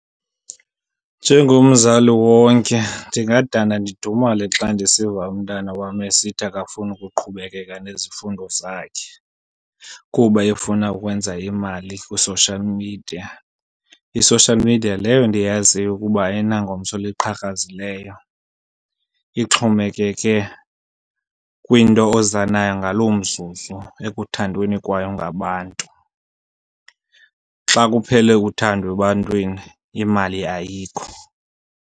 Njengomzali wonke ndingadana ndidumale xa ndisiva umntana wam esithi akafuni ukuqhubekeka nezifundo zakhe kuba efuna ukwenza imali kwi-social media. I-social media leyo ndiyaziyo ukuba ayinangomso liqhakrazileyo ixhomekeke kwinto oza nayo ngaloo mzuzu ekuthandweni kwayo ngabantu. Xa kuphele uthando ebantwini imali ayikho.